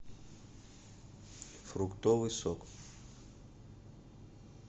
фруктовый сок